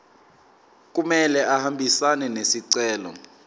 kumele ahambisane nesicelo